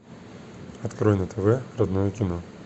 открой на тв родное кино